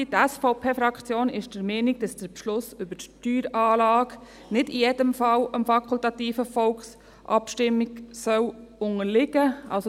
Die SVP-Fraktion ist der Meinung, dass der Beschluss über die Steueranlage nicht in jedem Fall der fakultativen Volksabstimmung unterliegen soll.